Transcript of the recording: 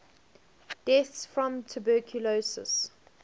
deaths from tuberculosis